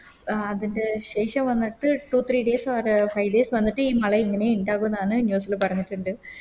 അഹ് അതിൻറെ ശേഷം വന്നിട്ട് Two three days ഒര് Five days വന്നിട്ട് ഈ മള ഇങ്ങനെ ഇണ്ടാകുന്നാണ് News ല് പറഞ്ഞിട്ടിണ്ട്